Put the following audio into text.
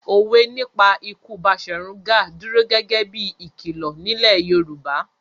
Òwe nípa ikú Baṣọ̀run Gáà dúró gẹ́gẹ́ bí i ìkìlọ̀ nílẹ̀ Yorùbá.